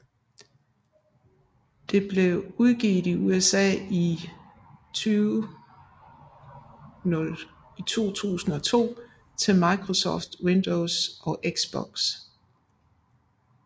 Det blev udgivet i USA i 2002 til Microsoft Windows og Xbox